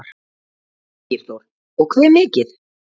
Ægir Þór: Og hve mikið?